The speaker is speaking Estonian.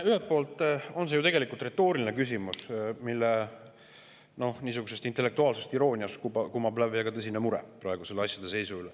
Ühelt poolt on see retooriline küsimus, mille intellektuaalsest irooniast kumab läbi väga tõsine mure praeguse asjade seisu üle.